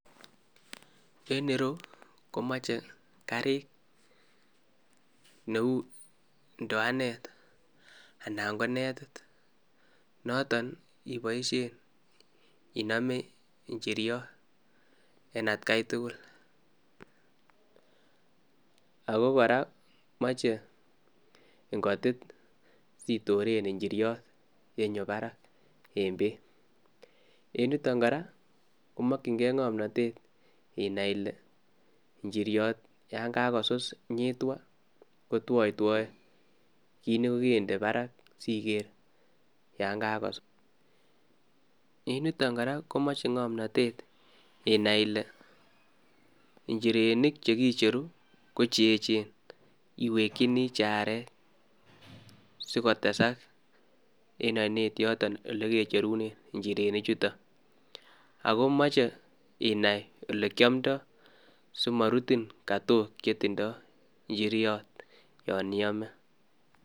En ireu komoche Garik cheu indowanet anan ko netit noton neiboshien inome inyiriot en etkai tugul, ak kora komoche ingotiit sitoren inyiriot yenyoo barak en beek. En yuton kora komokyingei ngomnotet inai Ile injiriot yon kakosus nyitwaan kotwoitwoe, kit nekokinde bark siker yon kakosus. En yuton kora komoche ngomnotet inai Ile injirenik chekicheru ko cheechen iwekyinii che aarek sikotesak en oinet yotok olekecherunen. Ak noche inai OLE kiomdoi simorutin katook che tindo inyiriot yon iome